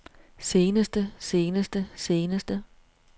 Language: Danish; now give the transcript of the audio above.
seneste seneste seneste